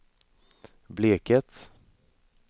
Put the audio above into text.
Bleket